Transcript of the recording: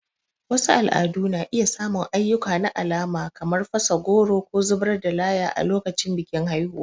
Wasu al'adu na iya samun ayyuka na alama kamar fasa goro ko zubar da laya a lokacin bikin haihuwa.